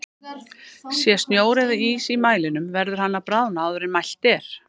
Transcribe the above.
Sé snjór eða ís í mælinum verður hann að bráðna áður en mælt er.